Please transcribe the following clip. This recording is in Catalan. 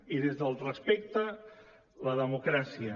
i des del respecte la democràcia